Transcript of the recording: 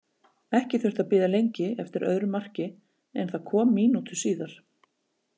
Ekki þurfti að bíða lengi eftir öðru marki en það kom mínútu síðar.